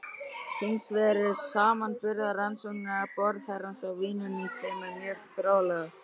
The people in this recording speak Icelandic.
Hins vegar eru samanburðarrannsóknir borðherrans á vínunum tveimur mjög fróðlegar.